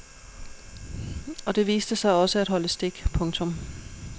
Og det viste sig også at holde stik. punktum